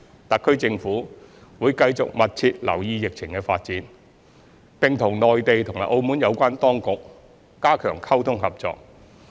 特區政府會繼續密切留意疫情的發展，並和內地及澳門有關當局加強溝通和合作。